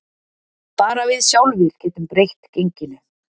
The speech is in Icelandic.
Bara við sjálfir getum breytt genginu